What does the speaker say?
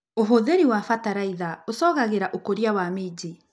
ũhũthĩri wa bataraitha ũcogagĩra ũkũria wa minji.